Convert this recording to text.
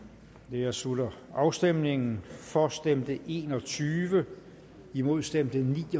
her slutter afstemningen for stemte en og tyve imod stemte ni